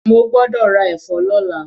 Mo gbọ́dọ̀ ra ẹ̀fọ́ lọ́la.